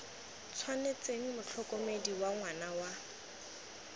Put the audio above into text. tshwanetseng motlhokomedi wa ngwana wa